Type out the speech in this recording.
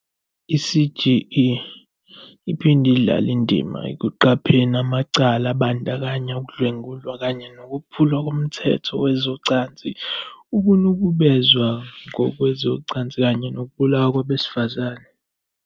"I-CGE iphinde idlale indima ekuqapheni amacala, abandakanya ukudlwengulwa kanye nokuphulwa komthetho wezocansi, ukunukubezwa ngokwezocansi kanye nokubulawa kwabesifazane."